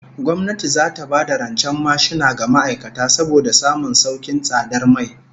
Gwamnati zata ba da rancen mashina ga ma'aikata saboda samun saukin tsadar mai